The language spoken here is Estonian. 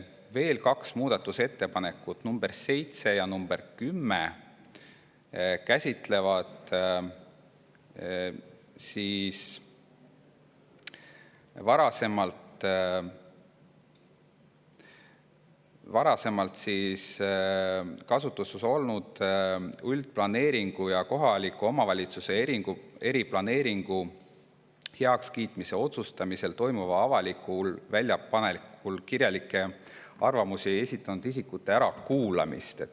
Veel kaks muudatusettepanekut, nr 7 ja nr 10, käsitlevad varasemalt kasutuses olnud üldplaneeringu ja kohaliku omavalitsuse eriplaneeringu heakskiitmise otsustamisel toimuval avalikul väljapanekul kirjalikke arvamusi esitanud isikute ärakuulamist.